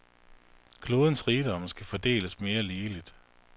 Klodens rigdomme skal fordeles mere ligeligt.